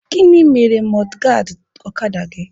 Gịnị mere mọdgaadị ọkada gị?